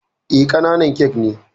Eh, ƙananan kek ne